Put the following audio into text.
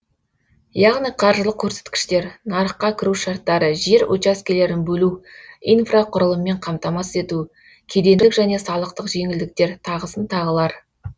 яғни қаржылық көрсеткіштер нарыққа кіру шарттары жер учаскелерін бөлу инфрақұрылыммен қамтамасыз ету кедендік және салықтық жеңілдіктер тағысын тағылар